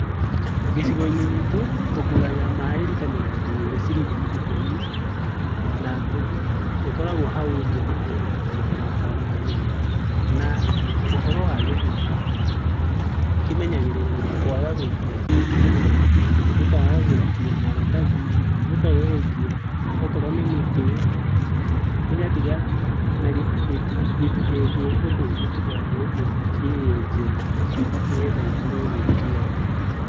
Gĩcigo-inĩ gitũ, tũgũraga maĩ rita mĩrongo ĩrĩ ciringi ikũmi na ĩkoragwo hau nja, ũguo tũtithiaga handũ hanene. Na ũhoro wa gĩthima, kĩmenyagĩrĩrwo na kwaga gũikia tĩri, gĩkaga gũĩkio maratathi, gĩkaga gũikio okorwo nĩ mĩtĩ, gĩgatiga, na gĩtikenjwo ũndũ ũngĩ tiga o ũguo kĩenjete, nĩgetha gĩkorwo gĩ kĩega.